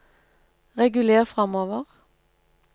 reguler framover